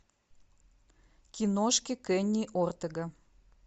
киношки кенни ортега